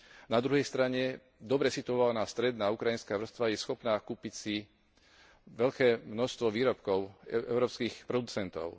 Na druhej strane, dobre situovaná stredná ukrajinská vrstva je schopná kúpiť si veľké množstvo výrobkov európskych producentov.